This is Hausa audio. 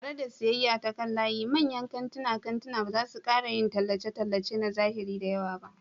Tare da siyayya ta kan layi, manyan kantunan kantuna ba za su ƙara yin tallace-tallace na zahiri da yawa ba.